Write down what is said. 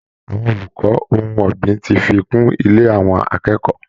Àwọn olùkọ́ ohun ọ̀gbìn ti fi kún ilẹ̀ àwọn akẹ́kọ̀ọ́